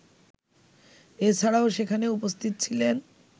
এছাড়াও সেখানে উপস্থিত ছিলেন